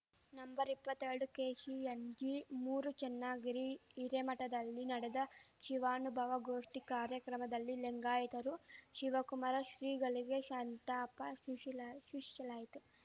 ನಂಬರ್ಎಪ್ಪತ್ತೆರಡುಕೆಸಿಎನ್ಜಿ ಮೂರು ಚನ್ನಗಿರಿ ಹಿರೇಮಠದಲ್ಲಿ ನಡೆದ ಶಿವಾನುಭವ ಗೋಷ್ಠಿ ಕಾರ್ಯಕ್ರಮದಲ್ಲಿ ಲಿಂಗಾಯಿತರು ಶಿವಕುಮಾರ ಶ್ರೀಗಳಿಗೆ ಶಂತಾಪ ಶೂಶಿಲಾ ಶೂಶಿಲಾಯಿತು